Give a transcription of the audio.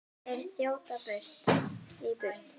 Þeir þjóta í burtu.